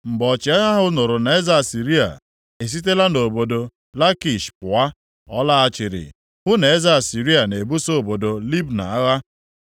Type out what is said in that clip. Mgbe ọchịagha ahụ nụrụ na eze Asịrịa e sitela nʼobodo Lakish pụa, ọ laghachiri hụ na eze Asịrịa na-ebuso obodo Libna agha.